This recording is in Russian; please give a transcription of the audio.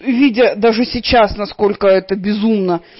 видя даже сейчас насколько это безумно